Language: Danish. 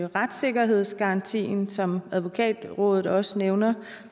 retssikkerhedsgarantien som advokatrådet også nævner